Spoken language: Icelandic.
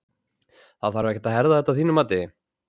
Þarf ekkert að herða þetta að þínu mati?